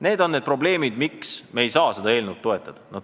Need on need probleemid, miks me ei saa seda eelnõu toetada.